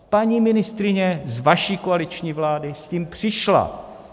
Paní ministryně z vaší koaliční vlády s tím přišla.